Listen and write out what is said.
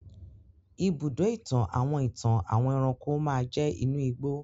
ibùdó-ìtàn àwọn ìtàn àwọn ẹranko máa jẹ́ inú ìgbó.